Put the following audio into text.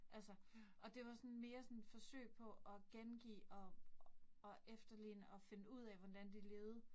Altså. Og det var sådan mere sådan forsøg på at gengive og og efterligne og finde ud af, hvordan de levede